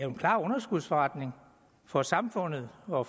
en klar underskudsforretning for samfundet og